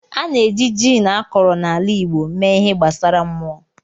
A na-eji gin akọrọ na ala igbo mee ihe gbasara mmụọ.